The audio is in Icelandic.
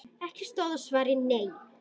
Ekki stóð á svari: Nei!